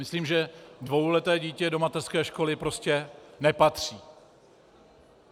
Myslím, že dvouleté dítě do mateřské školy prostě nepatří.